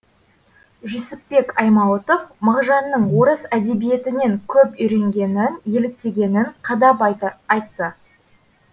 жүсіпбек аймауытов мағжанның орыс әдебиетінен көп үйренгенін еліктегенін қадап айтты